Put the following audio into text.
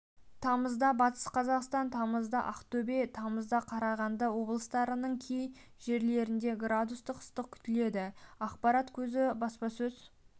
тамызда батыс қазақстан тамызда ақтөбе тамызда қарағанды облыстарының кей жерлерінде градус ыстық күтіледі ақпарат көзі баспасөз